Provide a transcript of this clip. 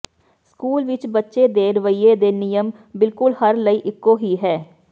school ਵਿਚ ਬੱਚੇ ਦੇ ਰਵੱਈਏ ਦੇ ਨਿਯਮ ਬਿਲਕੁਲ ਹਰ ਲਈ ਇੱਕੋ ਹੀ ਹੈ